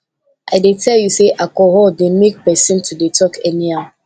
i dey tell you sey alcohol dey make pesin to dey talk anyhow